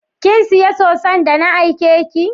kinsiya soson da na aike ki?